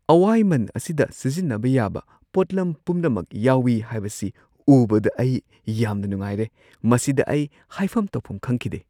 ꯑꯋꯥꯏꯃꯟ ꯑꯁꯤꯗ ꯁꯤꯖꯤꯟꯅꯕ ꯌꯥꯕ ꯄꯣꯠꯂꯝ ꯄꯨꯝꯅꯃꯛ ꯌꯥꯎꯋꯤ ꯍꯥꯏꯕꯁꯤ ꯎꯕꯗ ꯑꯩ ꯌꯥꯝꯅ ꯅꯨꯡꯉꯥꯏꯔꯦ ꯫ ꯃꯁꯤꯗ ꯑꯩ ꯍꯥꯏꯐꯝ ꯇꯧꯐꯝ ꯈꯪꯈꯤꯗꯦ!